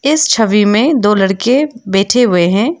इस छवि में दो लड़के बैठे हुए हैं।